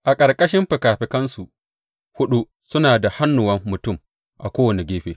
A ƙarƙashin fikafikansu huɗu suna da hannuwan mutum a kowane gefe.